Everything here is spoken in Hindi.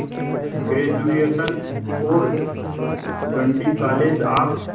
ग्रेजुएशन और गिंडी कॉलेज ऑफ